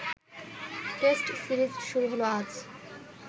test series শুরু হল আজ